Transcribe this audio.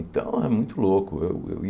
Então é muito louco. Eu eu